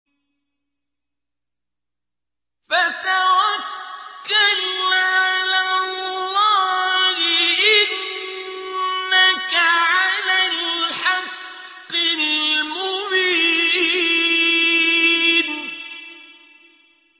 فَتَوَكَّلْ عَلَى اللَّهِ ۖ إِنَّكَ عَلَى الْحَقِّ الْمُبِينِ